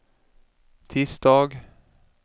tisdag